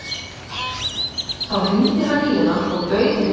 Þá hringdi hann í hana og bauð henni heim til sín.